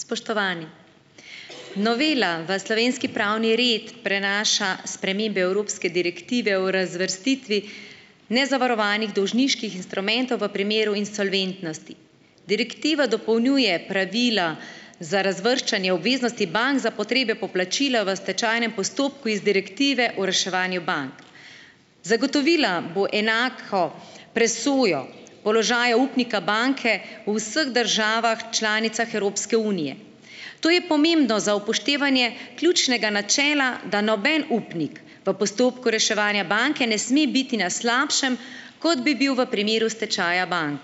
Spoštovani! Novela v slovenski pravni red prenaša spremembe evropske direktive o razvrstitvi nezavarovanih dolžniških instrumentov v primeru insolventnosti. Direktiva dopolnjuje pravila za razvrščanje obveznosti bank za potrebe poplačila v stečajnem postopku iz direktive o reševanju bank. Zagotovila bo enako presojo položaja upnika banke v vseh državah članicah Evropske unije. To je pomembno za upoštevanje ključnega načela, da noben upnik v postopku reševanja banke ne sme biti na slabšem, kot bi bil v primeru stečaja bank.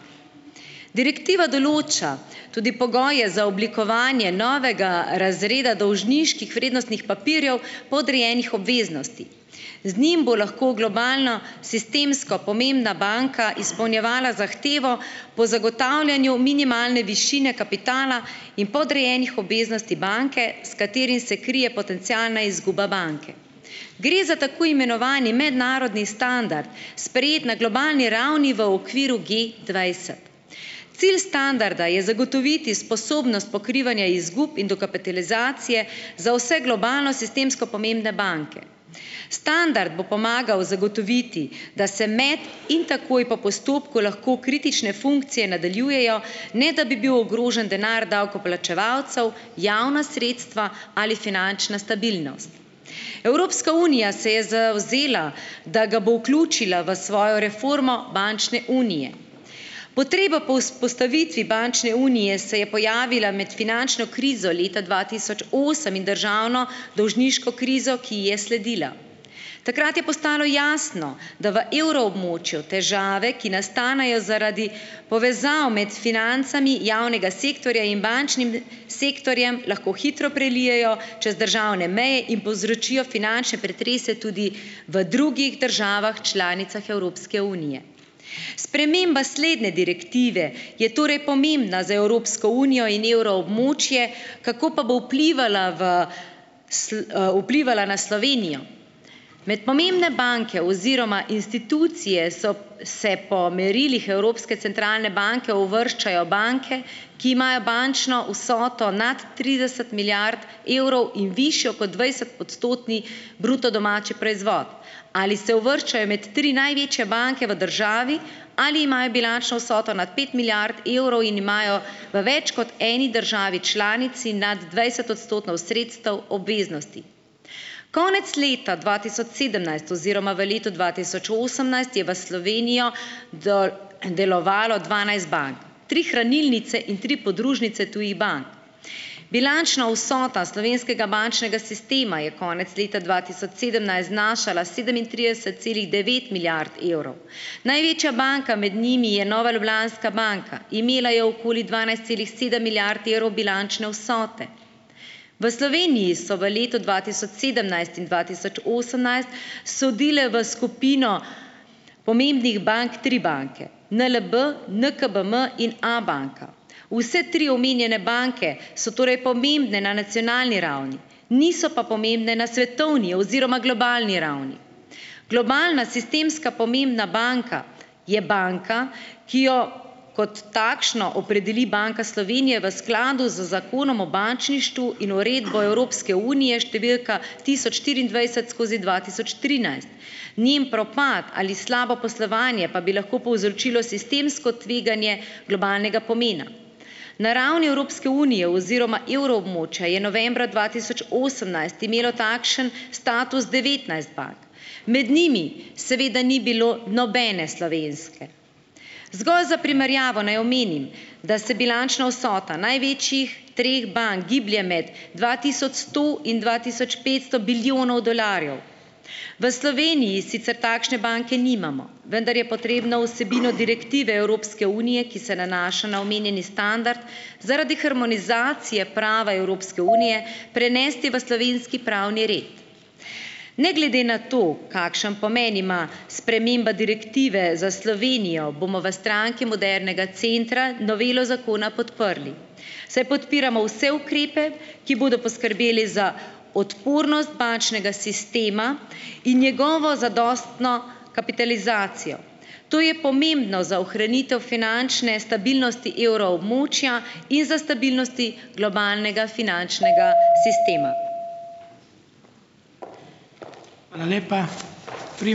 Direktiva določa tudi pogoje za oblikovanje novega razreda dolžniških vrednostnih papirjev podrejenih obveznosti. Z njim bo lahko globalna sistemsko pomembna banka izpolnjevala zahtevo po zagotavljanju minimalne višine kapitala in podrejenih obveznosti banke, s katerim se krije potencialna izguba banke. Gre za tako imenovani mednarodni standard, sprejet na globalni ravni v okviru Gdvajset. Cilj standarda je zagotoviti sposobnost pokrivanja izgub in dokapitalizacije za vse globalno sistemsko pomembne banke. Standard bo pomagal zagotoviti, da se med in takoj po postopku lahko kritične funkcije nadaljujejo, ne da bi bil ogrožen denar davkoplačevalcev, javna sredstva ali finančna stabilnost. Evropska unija se je zavzela, da ga bo vključila v svojo reformo bančne unije, potreba po vzpostavitvi bančne unije se je pojavila med finančno krizo leta dva tisoč osem in državno dolžniško krizo, ki ji je sledila. Takrat je postalo jasno, da v evroobmočju težave, ki nastanejo zaradi povezav med financami javnega sektorja in bančnim sektorjem, lahko hitro prelijejo čez državne meje in povzročijo finančne pretrese tudi v drugih državah članicah Evropske unije. Sprememba slednje direktive je torej pomembna za Evropsko unijo in evroobmočje, kako pa bo vplivala v vplivala na Slovenijo. Med pomembne banke oziroma institucije so se po merilih Evropske centralne banke uvrščajo banke, ki imajo bančno vsoto nad trideset milijard evrov in višjo kot dvajsetodstotni bruto domači proizvod. Ali se uvrščajo med tri največje banke v državi ali imajo bilančno vsoto nad pet milijard evrov in imajo v več kot eni državi članici nad dvajset odstotkov sredstev obveznosti. Konec leta dva tisoč sedemnajst oziroma v letu dva tisoč osemnajst je v Slovenijo delovalo dvanajst bank. Tri hranilnice in tri podružnice tujih bank. Bilančna vsota slovenskega bančnega sistema je konec leta dva tisoč sedemnajst znašala sedemintrideset celih devet milijard evrov. Največja banka med njimi je Nova Ljubljanska banka. Imela je okoli dvanajst celih sedem milijard evrov bilančne vsote. V Sloveniji so v letu dva tisoč sedemnajst in dva tisoč osemnajst sodile v skupino pomembnih bank tri banke, NLB, NKBM in Abanka. Vse tri omenjene banke so torej pomembne na nacionalni ravni, niso pa pomembne na svetovni oziroma globalni ravni. Globalna sistemska pomembna banka je banka, ki jo kot takšno opredeli Banka Slovenije v skladu z zakonom o bančništvu in Uredbo Evropske unije številka tisoč štiriindvajset skozi dva tisoč trinajst. Njen propad ali slabo poslovanje pa bi lahko povzročilo sistemsko tveganje globalnega pomena. Na ravni Evropske unije oziroma evroobmočja je novembra dva tisoč osemnajst imelo takšen status devetnajst bank. Med njimi seveda ni bilo nobene slovenske. Zgolj za primerjavo naj omenim, da se bilančna vsota največjih treh bank giblje med dva tisoč sto in dva tisoč petsto bilijonov dolarjev. V Sloveniji sicer takšne banke nimamo, vendar je potrebno vsebino direktive Evropske unije, ki se nanaša na omenjeni standard, zaradi harmonizacije prava Evropske unije prenesti v slovenski pravni red. Ne glede na to, kakšen pomen ima sprememba direktive za Slovenijo, bomo v Stranki modernega centra novelo zakona podprli, saj podpiramo vse ukrepe, ki bodo poskrbeli za odpornost bančnega sistema in njegovo zadostno kapitalizacijo. To je pomembno za ohranitev finančne stabilnosti evroobmočja in za stabilnosti globalnega finančnega sistema.